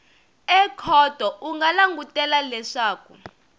ekhoto u nga langutela leswaku